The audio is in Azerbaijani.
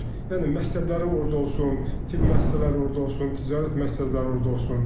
Yəni məktəblərin orda olsun, tibb müəssisələri orda olsun, ticarət məqsədləri orda olsun.